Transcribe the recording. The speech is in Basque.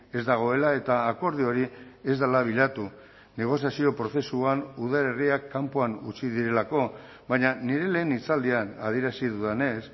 ez dagoela eta akordio hori ez dela bilatu negoziazio prozesuan udalerriak kanpoan utzi direlako baina nire lehen hitzaldian adierazi dudanez